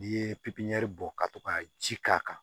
N'i ye pipiniyɛri bɔ ka to ka ji k'a kan